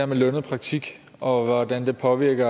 med lønnet praktik og hvordan det påvirker